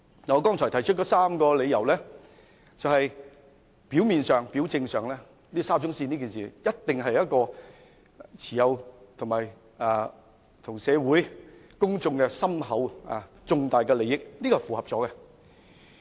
我剛才提出了3個理由，在表面上，沙中線一事一定與社會大眾有重大的利益關係，這項條件是符合的。